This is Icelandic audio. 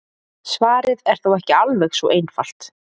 Svarið er þó ekki alveg svo einfalt.